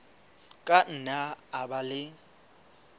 ka nna a ba le